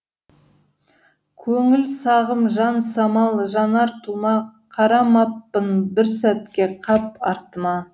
көңіл сағым жан самал жанар тұма қарамаппын бір сәтке қап артыма